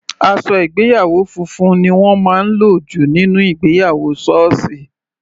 Aṣọ ìgbéyàwó funfun ni wọ́n máa ń lò jù nínú ìgbéyàwó sọọsi.